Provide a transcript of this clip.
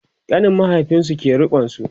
ƙanin mahaifinsu ke rikonsu